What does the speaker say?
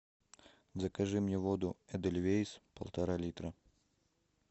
закажи мне воду эдельвейс полтора литра